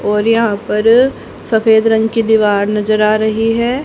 और यहां पर सफेद रंग की दीवार नजर आ रही है।